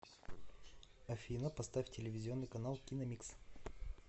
афина поставь телевизионный канал киномикс